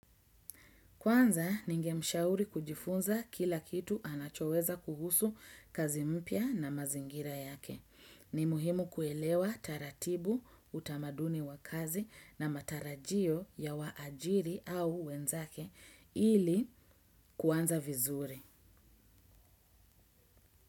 Kwanza ningemshauri kujifunza kila kitu anachoweza kuhusu kazi mpya na mazingira yake. Ni muhimu kuelewa taratibu utamaduni wa kazi na matarajio ya waajiri au wenzake ili kuanza vizuri.